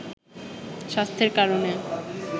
স্বাস্থ্যের কারণে